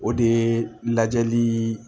O de ye lajɛli